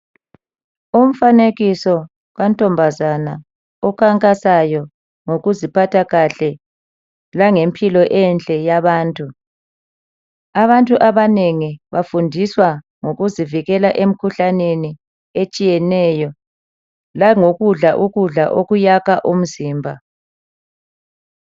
Umfanekiso kantombazana okhankasayo ngokuziphatha kahle langempilo enhle yabantu. Abantu abanengi bafundiswa ngokuzivikela emkhuhlaneni etshiyeneyo langokudla ukudla okuyakha umzimba.